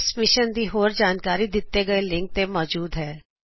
ਇਸ ਮਿਸ਼ਨ ਦੀ ਹੋਰ ਜਾਣਕਾਰੀ spoken tutorialorgnmeict ਇੰਟਰੋ ਉੱਤੇ ਮੌਜੂਦ ਹੈ